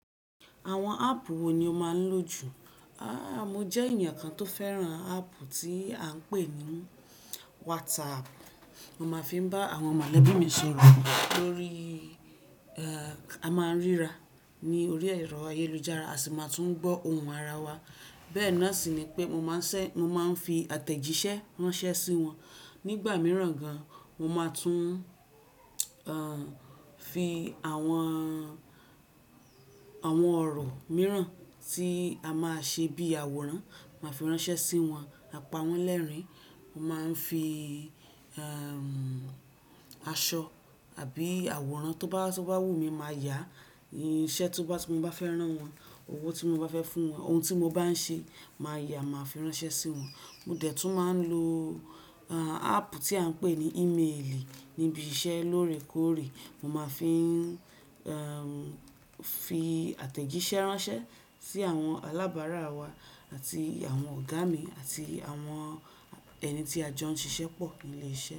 Àwọn áàpù wo ni ó máa ń lò jù? A! Mo jẹ́ ènìyàn kan tó fẹ́ràn áàpù tí à ń pè ní WhatsApp. Mo máa ń fi bá àwọn mọ̀lẹ́bí mi sọ̀rọ̀ lórí, ẹ́ẹ́, a máa ń ríra ní orí ẹ̀rọ ayélujára, a sì máa tún gbọ́ ohùn ara wa. Bẹ́ẹ̀ náà sì ni pé mo máa ń ṣẹ, mo máa ń fi àtẹ̀jíṣẹ́ ránṣẹ́ sí wọn. Nígbà mìíràn gan, mo máa tún, ẹ́ẹ́, fi àwọn, àwọn ọ̀rọ̀ mìíràn tí a máa ṣe bí àwòrán, màá fi ránṣẹ́ sí wọn, àpa wọ́n lẹ́rìn. Mo máa ń fi, ẹ́ẹ́, aṣọ àbí àwòrán tó bá, tó bá wù mí, màá yà iṣẹ́ tó bá, tí mo bá fẹ́ rán wọn, owó tí mo bá fẹ́ fún wọn, ohun tí mo bá ń ṣe, màá yà, màá fi ránṣẹ́ sí wọn. Mo dẹ̀ tún máa ń lo, ẹ́ẹ́, áàpù tí à ń pè ní ímeèlì níbi iṣẹ́ lóòrèkóòrè. Mo máa ń fi, ẹ́ẹ́, fi àtẹ̀jíṣẹ́ ránṣẹ́ sí àwọn alábàárà wa àti àwọn ọ̀gá mi àti àwọn ẹni tí a jọ ń ṣiṣẹ́ pọ̀ ní ilé iṣẹ́